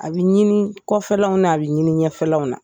A bɛ ɲini kɔfɛlaw na a bɛ ɲini ɲɛfɛlaw na